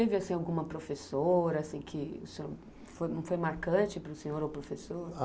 alguma professora que assim que o senhor foi foi marcante para o senhor o professor?